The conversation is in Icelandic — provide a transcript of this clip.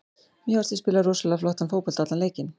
Mér fannst við spila rosalega flottan fótbolta allan leikinn.